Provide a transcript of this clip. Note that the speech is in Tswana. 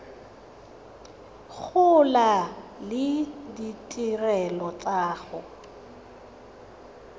gola le ditirelo tsa go